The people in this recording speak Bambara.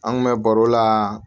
An kun bɛ baro la